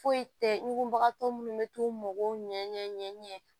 Foyi tɛ ɲugulabagatɔ minnu bɛ t'u mago ɲɛ